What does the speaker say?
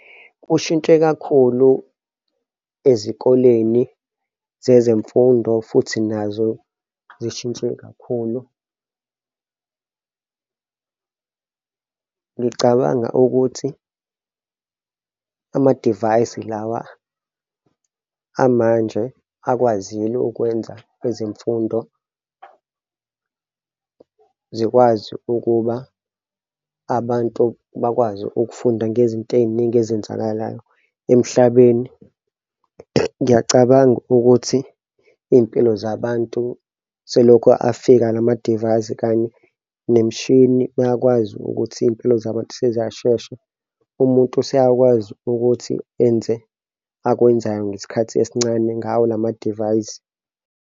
Kushintshe kakhulu ezikoleni zezemfundo futhi nazo zishintshe kakhulu. Ngicabanga ukuthi amadivayisi lawa amanje akwazile ukwenza ezemfundo zikwazi ukuba abantu bakwazi ukufunda ngezinto ey'ningi ezenzakalayo emhlabeni. Ngiyacabanga ukuthi iy'mpilo zabantu selokho afika lama divayisi kanye nemishini iyakwazi ukuthi iy'mpilo zabantu seziyashesha, umuntu seyakwazi ukuthi enze akwenzayo ngesikhathi esincane ngawo lama divayisi.